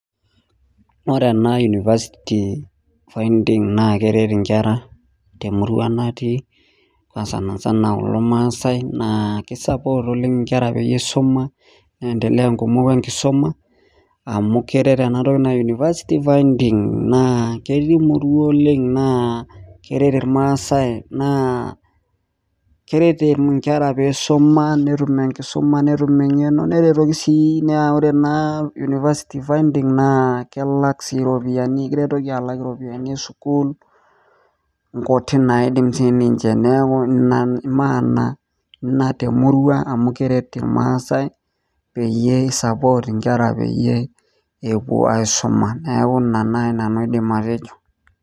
Wore ena university finding na keret inkera temurua natii naa sanisana kulo maasai, naa ki support oleng' inkera peyie isuma, niendelea inkumok enkisuma, amu keret enatoki naji university finding naa ketii imurua oleng' naa keret irmaasae naa keret inkera pee isuma netum enkisuma netum engeno, neretoki sii naa wore naa university finding naa kelak sii iropiyani ekiretoki alak iropiyani esukuul inkutik naidim sininche neeku inia maana ina temurua amu keret irmaasae peyie I support inkera peyie epuo aisuma. Neeku inia nai nanu aidim atejo.